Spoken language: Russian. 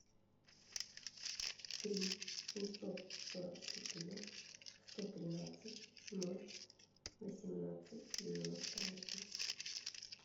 три семьсот сорок четыре сто тринадцать ноль восемнадцать девяносто восемь